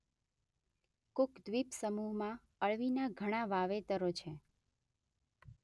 Cook દ્વીપ સમુહમાં અળવીના ઘણાં વાવેતરો છે.